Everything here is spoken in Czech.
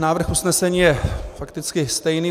Návrh usnesení je fakticky stejný.